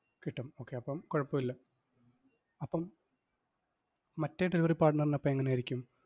കിട്ടും okay അപ്പം കൊഴപ്പോയില്ല. അപ്പം മറ്റെ delivery partner ന് അപ്പം എങ്ങനെയായിരിക്കും?